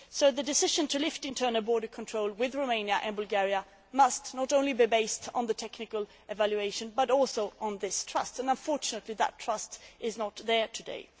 The decision to lift internal border controls with Romania and Bulgaria must not only be based on the technical evaluation but also on this trust, and unfortunately, that trust is not there today.